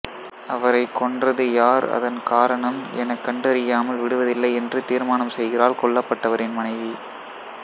அவரைக் கொன்றது யார் அதன் காரணம் எனக் கண்டறியாமல் விடுவதில்லை என்று தீர்மானம் செய்கிறாள் கொல்லப்பட்டவரின் மனைவி